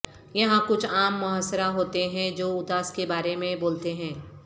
یہاں کچھ عام محاصرہ ہوتے ہیں جو اداس کے بارے میں بولتے ہیں